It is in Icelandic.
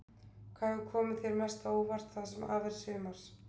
Hvað hefur komið þér mest á óvart það sem af er sumars?